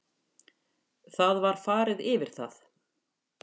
Það var farið yfir það